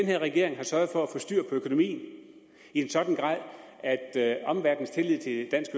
her regering har sørget for at få styr på økonomien i en sådan grad at at omverdenens tillid til dansk